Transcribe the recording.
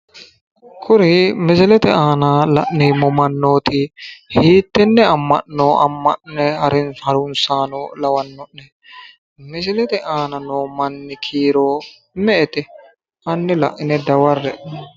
Kuri misilete aana la'neemmoti hiitenne amma'no harunsaano lanno'ne? misilete aana noo manni kiiro me'ete? hanni laine daware'e.